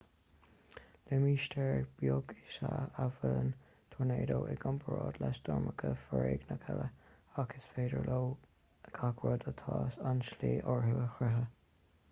limistéar beag is ea a bhuaileann tornádó i gcomparáid le stoirmeacha foréigneacha eile ach is féidir leo gach rud atá sa tslí orthu a scriosadh